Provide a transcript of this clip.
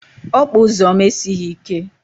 Okpa ụzọ m esighizi ike